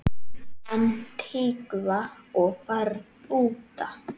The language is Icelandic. Antígva og Barbúda